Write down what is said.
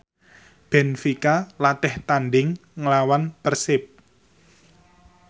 benfica latih tandhing nglawan Persib